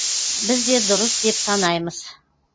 біз де дұрыс деп санаймыз